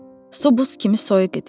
Su buz kimi soyuq idi.